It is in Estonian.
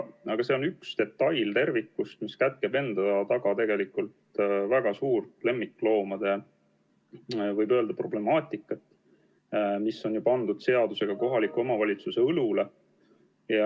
Aga see on üks detail tervikust, mis kätkeb endas tegelikult väga suurt lemmikloomade problemaatikat, mis on seadusega pandud kohaliku omavalitsuse õlule.